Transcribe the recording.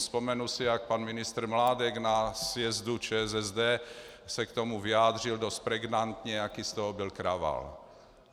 Vzpomenu si, jak pan ministr Mládek na sjezdu ČSSD se k tomu vyjádřil dost pregnantně, jaký z toho byl kravál.